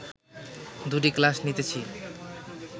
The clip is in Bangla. দুটি ক্লাস নিতেছি